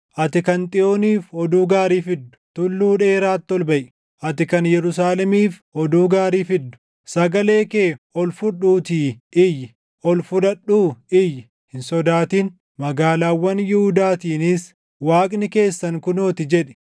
Ati kan Xiyooniif oduu gaarii fiddu, tulluu dheeraatti ol baʼi. Ati kan Yerusaalemiif oduu gaarii fiddu, sagalee kee ol fudhuutii iyyi; ol fudhadhuu iyyi; hin sodaatin; magaalaawwan Yihuudaatiinis, “Waaqni keessan kunoo ti!” jedhi.